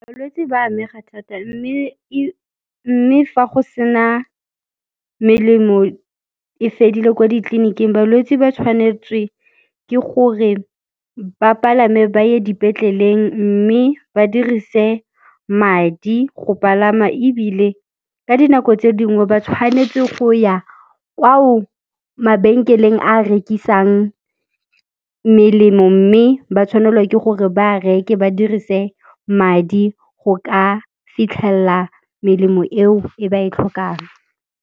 Balwetse ba amega thata mme fa go sena melemo e fedile ko ditleliniking, balwetse ba tshwanetswe ke gore ba palame ba ye dipetleleng mme ba dirise madi go palama ebile ka dinako tse dingwe ba tshwanetse go ya kwao mabenkeleng a rekisang melemo mme ba tshwanelwa ke gore ba reke ba dirise madi go ka fitlhelela melemo eo e ba e tlhokang.